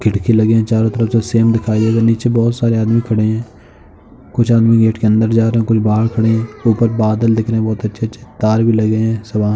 खिड़की लगे हैं चारो तरफ। जो सेम नीचे बहोत सारे आदमी खड़े हैं। कुछ आदमी गेट के अंदर जा रहे हैं। कुछ बाहर खड़े हैं। ऊपर बादल दिख रहे हैं बहोत अच्छे-अच्छे तार भी लगे हैं। सुबह --